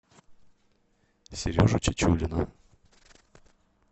сережу чечулина